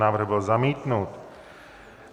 Návrh byl zamítnut.